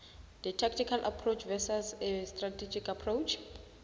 a tactical approach versus a strategic approach